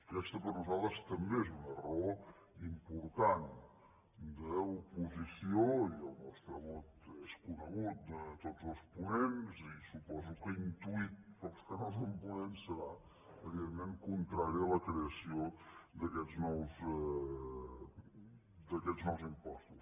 aquesta per nosaltres també és una raó important d’oposició i el nostre vot és conegut de tots els ponents i suposo que intuït pels que no són ponents serà evidentment contrari a la creació d’aquests nous impostos